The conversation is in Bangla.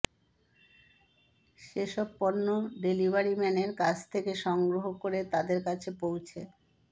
সেসব পণ্য ডেলিভারিম্যানের কাছ থেকে সংগ্রহ করে তাদের কাছে পৌঁছে